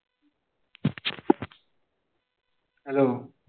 hello